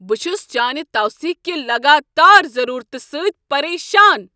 بہٕ چُھس چانِہ توثیق کہ لگاتار ضرورتِہ سۭتۍ پریشان ۔